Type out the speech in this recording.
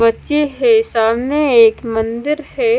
बच्चे हैं सामने एक मंदिर है।